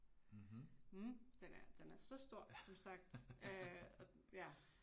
Mh, den er den er så stor som sagt øh og ja